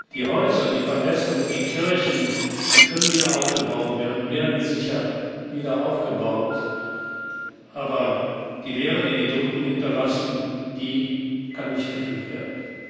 Die Häuser, die Paläste und die Kirchen können wieder aufgebaut werden und werden sicher wieder aufgebaut, aber die Leere, die die Toten hinterlassen, kann nicht gefüllt werden.